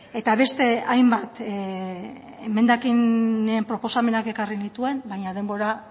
eta beste hainbat emendakinen proposamenak ekarri nituen baina denbora